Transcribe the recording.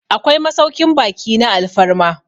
akwai masaukin baki na alfarma